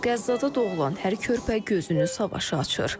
Qəzzada doğulan hər körpə gözünü savaşa açır.